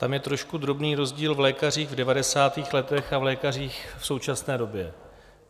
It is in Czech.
Tam je trošku drobný rozdíl v lékařích v 90. letech a v lékařích v současné době.